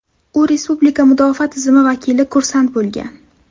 U respublika mudofaa tizimi vakili kursant bo‘lgan.